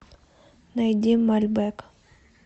найди мальбэк